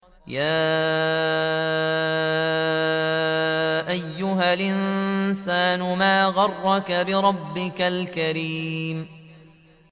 يَا أَيُّهَا الْإِنسَانُ مَا غَرَّكَ بِرَبِّكَ الْكَرِيمِ